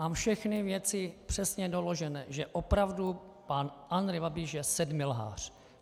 Mám všechny věci přesně doložené, že opravdu pan Andrej Babiš je sedmilhář.